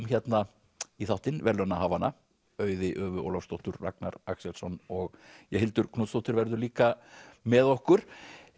hérna í þáttinn verðlaunahafana Auði Ólafsdóttur Ragnar Axelsson og Hildur Knútsdóttir verður líka með okkur